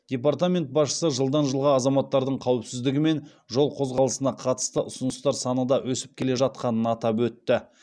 департамент басшысы жылдан жылға азаматтардың қауіпсіздігі мен жол қозғалысына қатысты ұсыныстар саны да өсіп келе жатқанын атап өтті